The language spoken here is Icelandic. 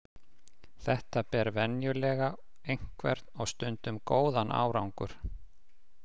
Þetta ber venjulega einhvern og stundum góðan árangur.